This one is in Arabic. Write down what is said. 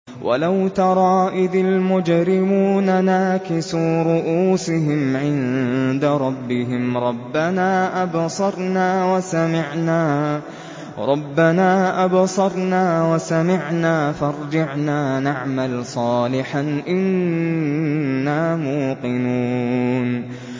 وَلَوْ تَرَىٰ إِذِ الْمُجْرِمُونَ نَاكِسُو رُءُوسِهِمْ عِندَ رَبِّهِمْ رَبَّنَا أَبْصَرْنَا وَسَمِعْنَا فَارْجِعْنَا نَعْمَلْ صَالِحًا إِنَّا مُوقِنُونَ